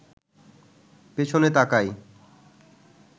পেছনে তাকায়